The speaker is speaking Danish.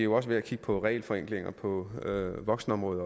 også ved at kigge på regelforenklinger på voksenområdet